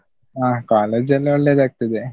ಅಹ್ college ಎಲ್ಲಾ ಒಳ್ಳೇದಾಗ್ತದೆ.